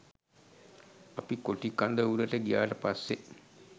අපි කොටි කඳවුරට ගියාට පස්සේ